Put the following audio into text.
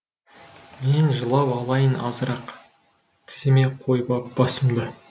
мен жылап алайын азырақ тіземе қойып ап басымды